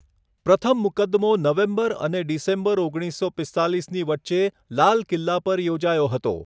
પ્રથમ મુકદ્દમો નવેમ્બર અને ડિસેમ્બર ઓગણીસસો પીસ્તાલીસની વચ્ચે લાલ કિલ્લા પર યોજાયો હતો.